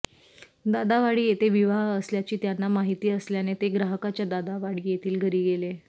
दादावाडी येथे विवाह असल्याची त्यांना माहिती असल्याने ते ग्राहकाच्या दादावाडी येथील घरी गेले